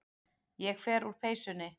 Ég fer úr peysunni.